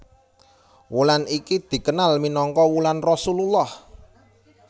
Wulan iki dikenal minangka wulan Rasulullah